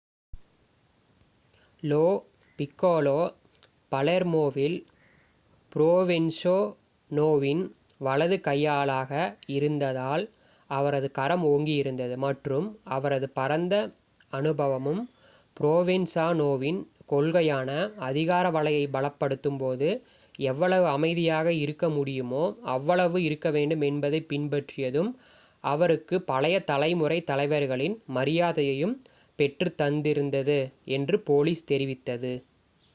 low Piccolo பலெர்மோவில் ப்ரோவென்சாநோவின் வலது கையாளாக இருந்ததால் அவரது கரம் ஓங்கி இருந்தது மற்றும் அவரது பரந்த அனுபவமும் ப்ரோவென்சாநோவின் கொள்கையான அதிகார வலையை பலப்படுத்தும் போது எவ்வளவு அமைதியாக இருக்க முடியுமோ அவ்வளவு இருக்க வேண்டும் என்பதைப் பின்பற்றியதும் அவருக்குப் பழைய தலைமுறை தலைவர்களின் மரியாதையையும் பெற்றுத் தந்திருந்தது என்று போலீஸ் தெரிவித்தது